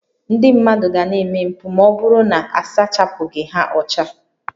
Ndị mmadụ ga na-eme mpụ ma ọ bụrụ na a sachapụghị ha ọcha